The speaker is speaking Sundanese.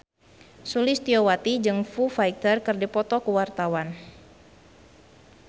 Sulistyowati jeung Foo Fighter keur dipoto ku wartawan